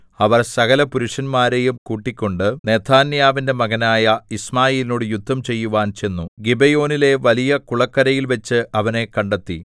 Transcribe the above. അവർ സകലപുരുഷന്മാരെയും കൂട്ടിക്കൊണ്ട് നെഥന്യാവിന്റെ മകനായ യിശ്മായേലിനോടു യുദ്ധം ചെയ്യുവാൻ ചെന്നു ഗിബെയോനിലെ വലിയ കുളക്കരയിൽ വച്ച് അവനെ കണ്ടെത്തി